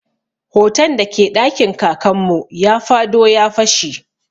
Hoton da ke ɗakin Kakan mu ya fado ya fashe.